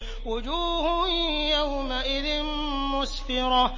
وُجُوهٌ يَوْمَئِذٍ مُّسْفِرَةٌ